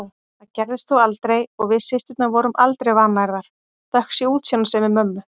Það gerðist þó aldrei og við systurnar vorum aldrei vannærðar, þökk sé útsjónarsemi mömmu.